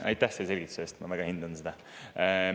Aitäh selle selgituse eest, ma väga hindan seda!